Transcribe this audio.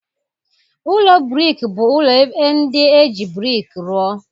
Ụlọ brik bụ ụlọ ndị e ji brik rụọ